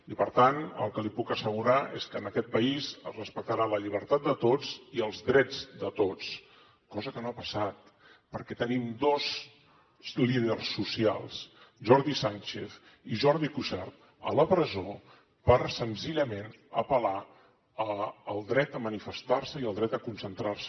i per tant el que li puc assegurar és que en aquest país es respectarà la llibertat de tots i els drets de tots cosa que no ha passat perquè tenim dos líders socials jordi sànchez i jordi cuixart a la presó per senzillament apel·lar al dret a manifestar se i al dret a concentrar se